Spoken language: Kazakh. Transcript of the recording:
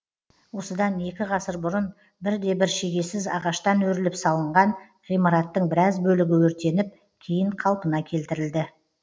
осыдан екі ғасыр бұрын бірде бір шегесіз ағаштан өріліп салынған ғимараттың біраз бөлігі өртеніп кейін қалпына келтірілді